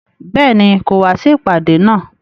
Béèni, kò wá sí ìpàdé náà